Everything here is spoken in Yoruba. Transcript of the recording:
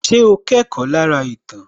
Ṣé o kẹ́kọ̀ọ́ lára ìtàn